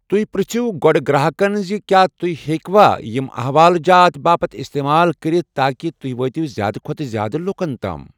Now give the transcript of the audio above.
تُہۍ پرِٛژھِو گۅڈٕ گراہکن زِ کیا تُہۍ ہیٚکہِ وا یِم حوال جات باپَتھ استعمال کرِتھ تاکہِ تُہۍ وٲتِو زیادٕ کھۅتہٕ زیادٕ لوٗکن تام۔